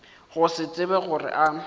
go se tsebe gore a